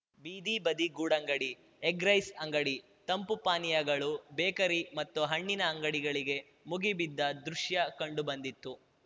ಬೀದಿ ಬದಿ ಗೂಡಂಗಡಿ ಎಗ್‍ರೈಸ್ ಅಂಗಡಿ ತಂಪು ಪಾನೀಯಗಳು ಬೇಕರಿ ಮತ್ತು ಹಣ್ಣಿನ ಅಂಗಡಿಗಳಿಗೆ ಮುಗಿ ಬಿದ್ದ ದೃಶ್ಯ ಕಂಡು ಬಂದಿತು